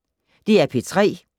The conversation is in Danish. DR P3